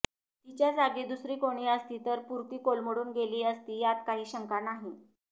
तिच्याजागी दुसरी कोणी असती तर पुरती कोलमडून गेली असती यात काही शंका नाही